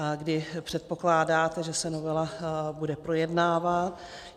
A kdy předpokládáte, že se novela bude projednávat?